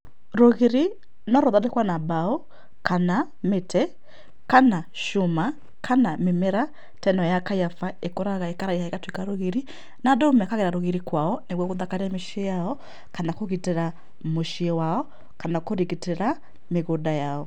Rũgiri no ruthondekwo na mbao kana mĩtĩ kana cuma kana mĩmera ta ĩno ya kaiyaba ĩkũraga ĩkaraiha ĩgatuĩka rũgiri. Na andũ mekagĩra rũgiri kwao nĩgetha gũthakaria mĩciĩ yao kana kũgitĩra mũciĩ wao kana kũgitĩra mĩgũnda yao.